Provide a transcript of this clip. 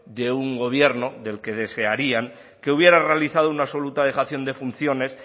de un gobierno del que desearían que hubiera realizado una absoluta dejación de funciones